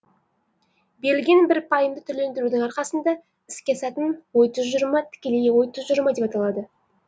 берілген бір пайымды түрлендірудің арқасында іске асатын ой тұжырымы тікелей ой тұжырымы деп аталады